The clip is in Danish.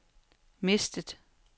mistet